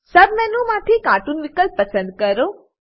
સબ menu માંથી cartoon વિકલ્પ પસંદ કરો